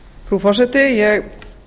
frú forseti ég